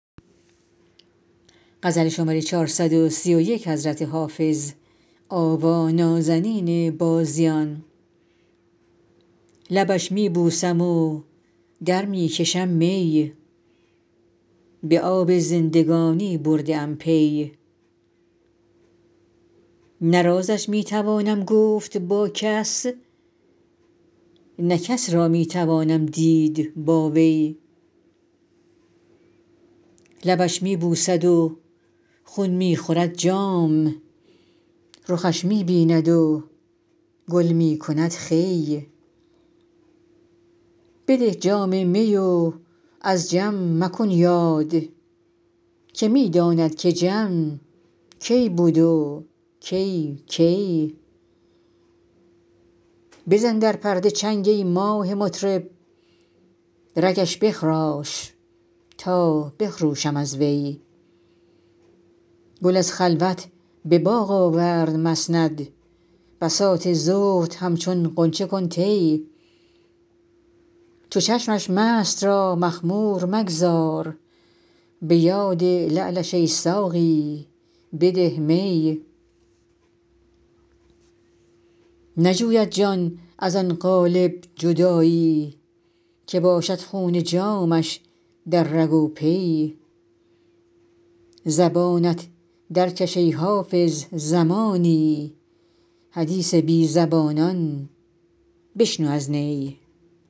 لبش می بوسم و در می کشم می به آب زندگانی برده ام پی نه رازش می توانم گفت با کس نه کس را می توانم دید با وی لبش می بوسد و خون می خورد جام رخش می بیند و گل می کند خوی بده جام می و از جم مکن یاد که می داند که جم کی بود و کی کی بزن در پرده چنگ ای ماه مطرب رگش بخراش تا بخروشم از وی گل از خلوت به باغ آورد مسند بساط زهد همچون غنچه کن طی چو چشمش مست را مخمور مگذار به یاد لعلش ای ساقی بده می نجوید جان از آن قالب جدایی که باشد خون جامش در رگ و پی زبانت درکش ای حافظ زمانی حدیث بی زبانان بشنو از نی